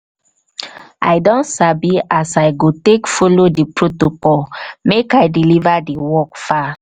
i don sabi as i go take folo di protocol make i deliver di work far.